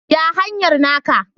Ya hanyar naka?